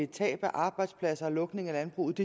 tab af arbejdspladser og lukning af landbruget